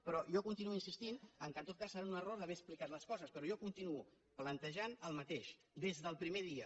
però jo continuo insistint que en tot cas deu ser un error d’haver explicat les coses però jo continuo plantejant el mateix des del primer dia